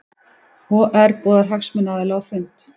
OR boðar hagsmunaaðila á fund